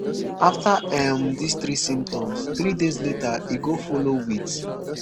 afta um dis three symptoms three days later e go follow wit